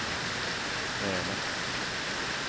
Sälen